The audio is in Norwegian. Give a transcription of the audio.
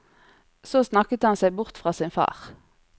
Så snakket han seg bort fra sin far.